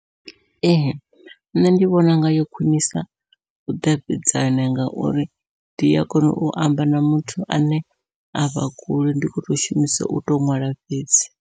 Ee nṋe ndi vhona unga yo khwiṋisa vhudavhidzani, ngauri ndi a kona u amba na muthu ane avha kule ndi kho to shumisa uto ṅwala fhedzi.